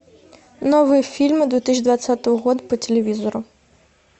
новые фильмы две тысячи двадцатого года по телевизору